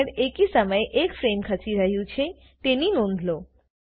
frame head એકી સમયે એક ફ્રેમ ખસી રહ્યું છે તેની નોંધ લો